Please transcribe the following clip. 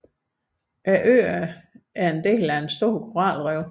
Øerne er en del af et stort koralrev